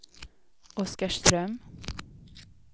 Oskarström